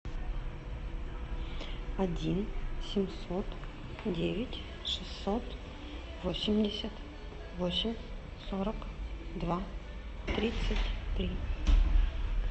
один семьсот девять шестьсот восемьдесят восемь сорок два тридцать три